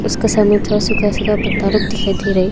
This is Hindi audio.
उसके सामने थोड़ा सूखा सूखा पत्ता लोग दिखाई दे रहा है।